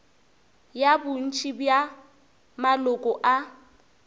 ya bontši bja maloko a